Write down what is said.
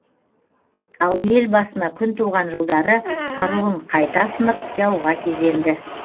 ал ел басына күн туған жылдары қаруын қайта асынып жауға кезенді